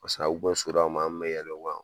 Paseke a bɛ so la tuma min an tun bɛ yɛlɛ o kan.